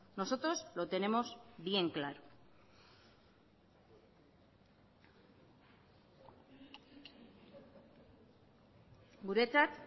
nosotros lo tenemos bien claro guretzat